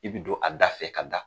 I be don a da fɛ ka da